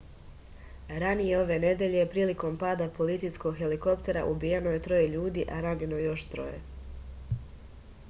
ranije ove nedelje prilikom pada policijskog helikoptera ubijeno je troje ljudi a ranjeno još troje